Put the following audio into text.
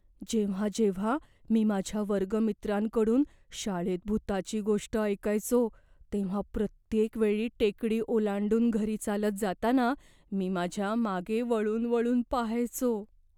जेव्हा जेव्हा मी माझ्या वर्गमित्रांकडून शाळेत भुताची गोष्ट ऐकायचो तेव्हा प्रत्येक वेळी टेकडी ओलांडून घरी चालत जाताना मी माझ्या मागे वळून वळून पहायचो.